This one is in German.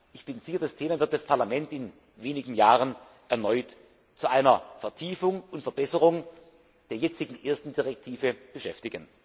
Ich bin sicher, dieses Thema wird das Parlament in wenigen Jahren erneut zu einer Vertiefung und Verbesserung der jetzigen ersten Richtlinie beschäftigen.